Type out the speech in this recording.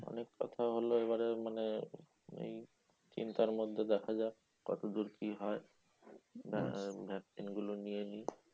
অনেক কথা হলো এবারে মানে, এই চিন্তার মধ্যে দেখা যাক কতদূর কি হয়? vaccine গুলো নিয়ে নিই।